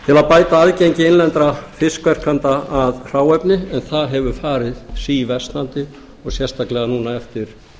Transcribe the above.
bæta aðgengi innlendra fiskverkenda að hráefni en það hefur farið síversnandi og sérstaklega núna eftir